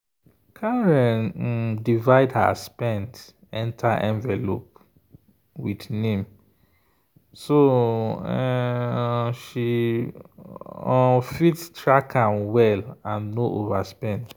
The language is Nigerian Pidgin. karen um divide her spend enter envelope with name so um she um fit track am well and no overspend.